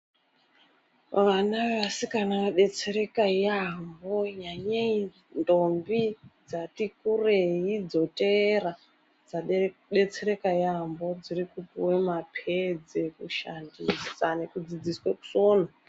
Vana vendombi vodetsereka yaampho, nyanyei ndombi dzati kurei dzoteera, dzodetsereka yaampho. Dziri kupuwa maphedzi ekushandisa nekufundiswe kusona.